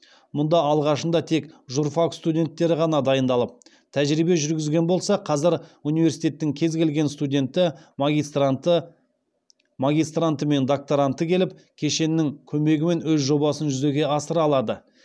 мұнда алғашында тек журфак студенттері ғана дайындалып тәжірибе жүргізген болса қазір университеттің кез келген студенті магистранты мен докторанты келіп кешеннің көмегімен өз жобасын жүзеге асыра алады